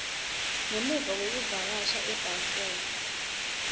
ngemuva kwekuvakashela ebalfour